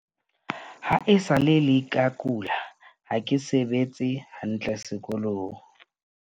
Ha e sa le ke kula, ha ke sebetse hantle sekolong.